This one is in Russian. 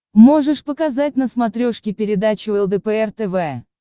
можешь показать на смотрешке передачу лдпр тв